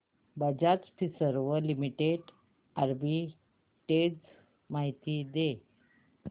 Bajaj Finserv limited arbitrage माहिती दे